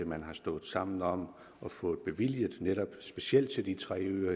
man har stået sammen om at få bevilget specielt til de tre øer